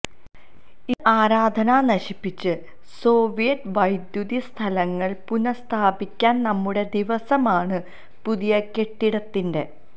ഇത് ആരാധനാ നശിപ്പിച്ചു സോവിയറ്റ് വൈദ്യുതി സ്ഥലങ്ങൾ പുനഃസ്ഥാപിക്കാൻ നമ്മുടെ ദിവസമാണ് പുതിയ കെട്ടിടത്തിന്റെ